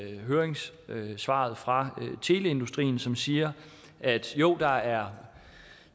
høringssvaret fra teleindustrien som siger at jo der er